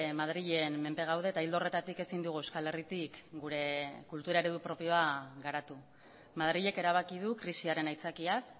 madrilen menpe gaude eta ildo horretatik ezin dugu euskal herritik gure kultura eredu propioa garatu madrilek erabaki du krisiaren aitzakiaz